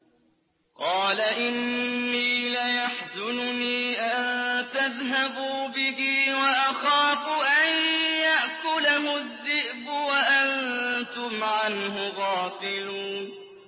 قَالَ إِنِّي لَيَحْزُنُنِي أَن تَذْهَبُوا بِهِ وَأَخَافُ أَن يَأْكُلَهُ الذِّئْبُ وَأَنتُمْ عَنْهُ غَافِلُونَ